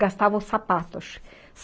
Gastavam sapatos.